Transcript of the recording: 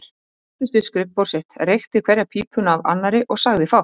Hann settist við skrifborð sitt, reykti hverja pípuna af annarri og sagði fátt.